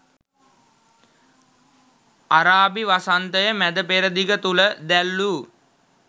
අරාබි වසන්තය මැද පෙරදිග තුළ දැල් වූ